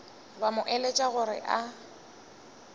ba mo eletša gore a